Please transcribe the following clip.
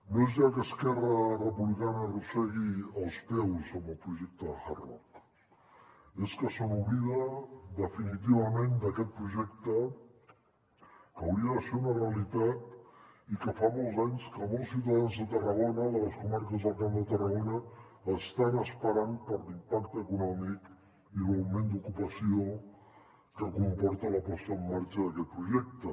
no és ja que esquerra republicana arrossegui els peus amb el projecte hard rock és que se n’oblida definitivament d’aquest projecte que hauria de ser una realitat i que fa molts anys que molts ciutadans de tarragona de les comarques del camp de tarragona estan esperant per l’impacte econòmic i l’augment d’ocupació que comporta la posada en marxa d’aquest projecte